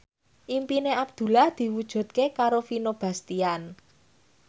impine Abdullah diwujudke karo Vino Bastian